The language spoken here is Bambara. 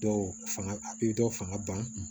Dɔw fanga a bi dɔw fanga ban